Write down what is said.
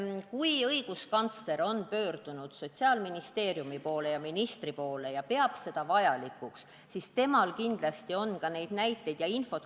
Kui õiguskantsler on Sotsiaalministeeriumi ja ministri poole pöördunud ning pidanud seda vajalikuks, siis temal on kindlasti ka näiteid ja muud infot.